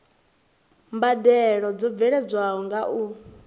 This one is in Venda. mbadelo dzo bveledzwaho nga u